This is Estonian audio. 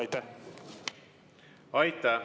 Aitäh!